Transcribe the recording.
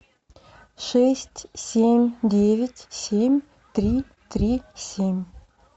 шесть семь девять семь три три семь